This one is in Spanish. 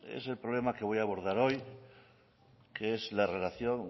es el problema que voy a abordar hoy que es la relación